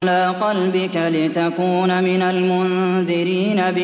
عَلَىٰ قَلْبِكَ لِتَكُونَ مِنَ الْمُنذِرِينَ